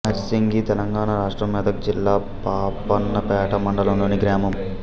నార్సింగి తెలంగాణ రాష్ట్రం మెదక్ జిల్లా పాపన్నపేట మండలంలోని గ్రామం